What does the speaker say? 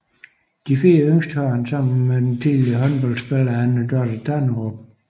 De fire yngste har han sammen med den tidligere håndboldspiller Anne Dorthe Tanderup